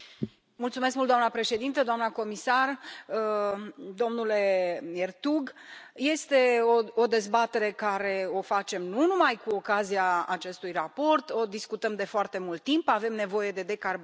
Doamna președintă, doamna comisar, domnule Ertug, este o dezbatere pe care o facem nu numai cu ocazia acestui raport, o discutăm de foarte mult timp, avem nevoie de decarbonizare.